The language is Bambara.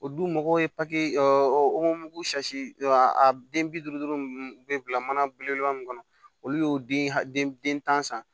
O dun mɔgɔw ye papiye o a den bi duuru duuru bɛ bila mana belebeleba min kɔnɔ olu y'o den tan san